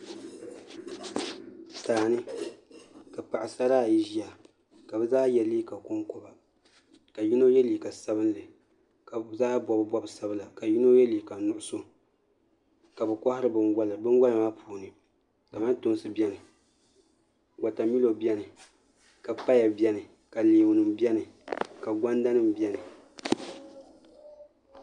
Daani ka paɣasara ayi ʒiya ka bi zaa yɛ liiga konkoba ka yino yɛ liiga sabinli ka bi zaa bob bob sabila ka yino yɛ liiga nuɣso ka bi kohari binwola binwola maa puuni kamantoosi biɛni ka wotamilo biɛni ka paya biɛni ka leemu nim biɛni ka gonda nim biɛni